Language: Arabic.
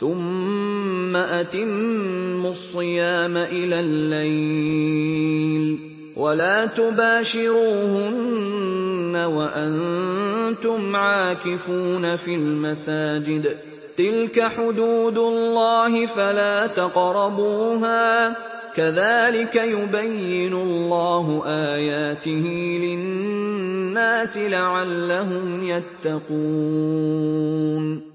ثُمَّ أَتِمُّوا الصِّيَامَ إِلَى اللَّيْلِ ۚ وَلَا تُبَاشِرُوهُنَّ وَأَنتُمْ عَاكِفُونَ فِي الْمَسَاجِدِ ۗ تِلْكَ حُدُودُ اللَّهِ فَلَا تَقْرَبُوهَا ۗ كَذَٰلِكَ يُبَيِّنُ اللَّهُ آيَاتِهِ لِلنَّاسِ لَعَلَّهُمْ يَتَّقُونَ